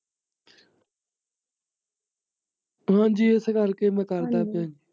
ਹਾਂਜੀ ਇਸ ਕਰਕੇ ਮੈਂ ਕਰਦਾ ਪਿਆ।